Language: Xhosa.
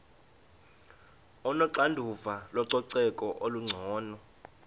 onoxanduva lococeko olungcono